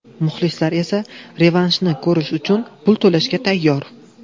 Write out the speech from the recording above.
Muxlislar esa revanshni ko‘rish uchun pul to‘lashga tayyor.